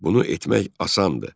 Bunu etmək asandır.